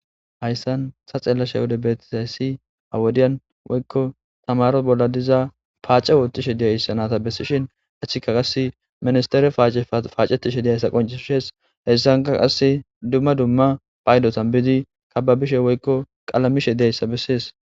Hayssan ta xeellashe wode beetizayssi hawodiyan woykko tamaro bolla diza paace woottishe diyayssanata bessishin achchika qas ministere c paacetishe diyaysa qoncishes hessanka qasse dumma dumma paydotanbiidi kababishe woykko qalamishe diyayssa bessees.